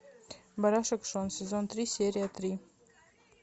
барашек шон сезон три серия три